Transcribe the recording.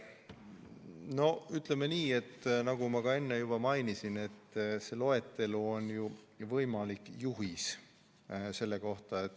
No ütleme nii, nagu ma enne juba mainisin, et see loetelu on võimalik juhis.